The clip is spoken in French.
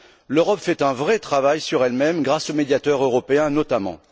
L'Europe fait un vrai travail sur elle même grâce au Médiateur européen, notamment.